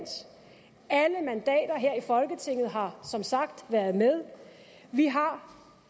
alle mandater her i folketinget har som sagt været med vi har